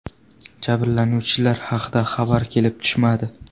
Jabrlanuvchilar haqida xabar kelib tushmadi.